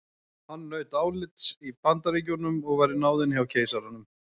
Hann naut álits í Bandaríkjunum og var í náðinni hjá keisaranum.